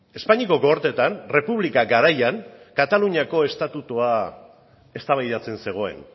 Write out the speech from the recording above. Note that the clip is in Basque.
espainiako gorteetan errepublika garaian kataluniako estatutua eztabaidatzen zegoen